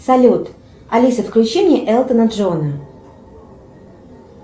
салют алиса включи мне элтона джона